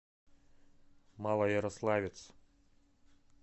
малоярославец